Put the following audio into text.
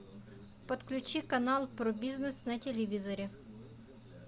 подключи канал про бизнес на телевизоре